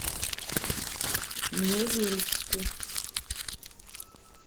невельску